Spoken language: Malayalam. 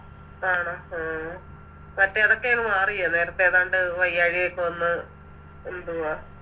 ആണോ ആ മറ്റേ അതൊക്കെയങ് മാറിയോ നേരത്തെ ഏതാണ്ട് വയ്യായികയൊക്കെ വന്ന് എന്തുവാ